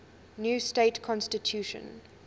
new state constitution